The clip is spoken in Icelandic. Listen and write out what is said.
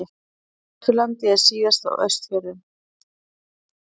Suðvesturlandi en síðast á Austfjörðum.